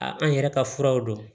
A an yɛrɛ ka furaw don